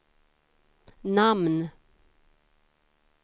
namn